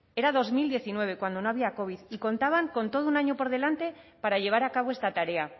era dos mil diecinueve cuando no había covid y contaban con todo un año por delante para llevar a cabo esta tarea